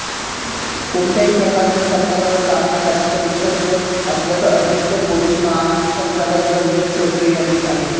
कोणत्याही प्रकारच्या संकटाचा सामना करण्यासाठी सज्ज असल्याचं अतिरिक्त पोलीस महासंचालक दलजीत चौधरी यांनी सांगितलं